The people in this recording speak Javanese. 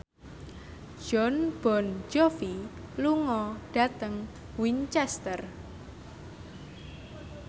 Jon Bon Jovi lunga dhateng Winchester